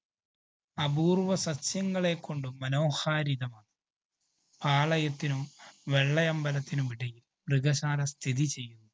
അപൂര്‍വ്വ സസ്യങ്ങളെ കൊണ്ടും മനോഹാരിതമാണ്. പാളയത്തിനും വെള്ളയമ്പലത്തിനും ഇടയില്‍ മൃഗശാല സ്ഥിതിചെയ്യുന്നു.